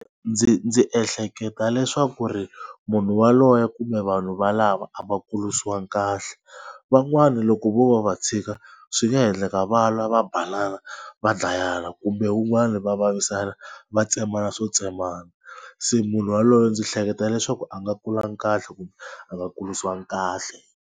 Ndzi ndzi ehleketa leswaku ku ri munhu waloye kumbe vanhu valava a va kurisiwanga kahle. Van'wani loko vo va va tshika swi nga endleka va lwa va banana va dlayana kumbe wun'wani va vavisana va tsemana swo tsemana. Se munhu waloye ndzi hleketa leswaku a nga kulangi kahle kumbe a nga kurisiwanga kahle.